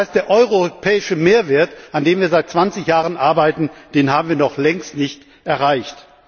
Das heißt, der europäische Mehrwert, an dem wir seit 20 Jahren arbeiten, den haben wir noch längst nicht erreicht.